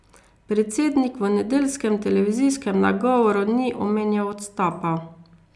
Predsednik v nedeljskem televizijskem nagovoru ni omenjal odstopa.